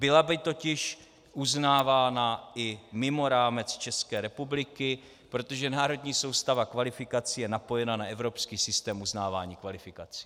Byla by totiž uznávána i mimo rámec České republiky, protože národní soustava kvalifikací je napojena na evropský systém uznávání kvalifikací.